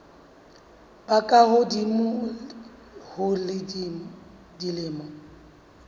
ba ka hodimo ho dilemo